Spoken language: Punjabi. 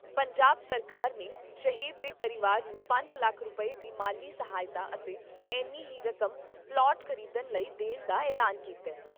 ਪੰਜਾਬ ਸਰਕਾਰ ਨੇ ਸ਼ਹੀਦ ਦੇ ਪਰਿਵਾਰ ਨੂੰ ਪੰਜ ਲੱਖ ਰੁਪਏ ਦੀ ਮਾਲੀ ਸਹਾਇਤਾ ਅਤੇ ਏਨੀ ਹੀ ਰਕਮ ਪਲਾਟ ਖ਼ਰੀਦਣ ਲਈ ਦੇਣ ਦਾ ਐਲਾਨ ਕੀਤਾ ।